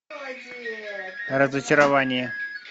разочарование